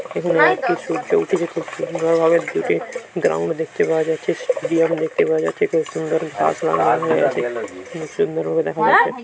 এখানে একটি সূর্য উঠে গেছে। সুন্দর ভাবে দূরে গ্রাউন্ড দেখতে পাওয়া যাচ্ছে। স্টেডিয়াম দেখতে পাওয়া যাচ্ছে। খুব সুন্দর ঘাস লাগা আছে। এতে খুব সুন্দর ভাবে দেখা যাচ্ছে।